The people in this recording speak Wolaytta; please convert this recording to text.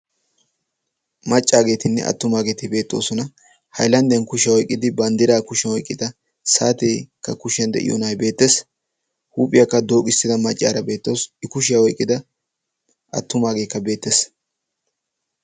Maccaageetinne attumaageeti beettoosona. haylandiyan kushiyaa oiqqidi banddira kushiyan oiqqida saateekka kushiyan de'iyo na'ay beettees. huuphiyaakka dooqissida maccaaraa beettoosona i kushiyaa oyqqida attumaageekka beettees.